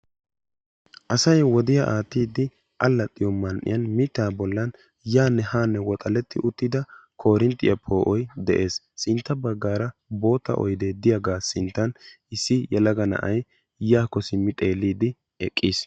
assay wodiyaa aatidi alaxiyo man"ee mitta bollani de"iyaa koorentiyaa poo"uwani keehi puulatidi uttisi bootta oyde de"iyaga sinttani issi yelaga na"ay yaako xeelidi eqiisi.